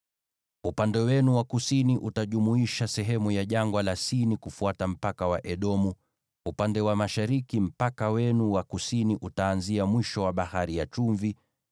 “ ‘Upande wenu wa kusini utajumuisha sehemu ya Jangwa la Sini kufuata mpaka wa Edomu. Upande wa mashariki mpaka wenu wa kusini utaanzia mwisho wa Bahari ya Chumvi,